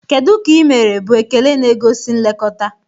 Kedu ka ị mere?" bụ ekele nke na-egosi nlekọta.